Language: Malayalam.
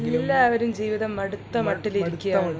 എല്ലാവരും ജീവിതം മടുത്ത മട്ടിൽ ഇരിക്കുകയാണ്